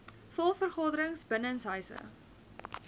saal vergaderings binnenshuise